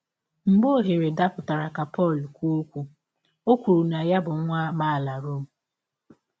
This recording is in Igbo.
Mgbe ọhere dapụtara ka Pọl kwụọ ọkwụ, ọ kwụrụ na ya bụ nwa amaala Rom.